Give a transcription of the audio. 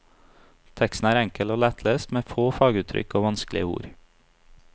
Teksten er enkel og lettlest med få faguttrykk og vanskelige ord.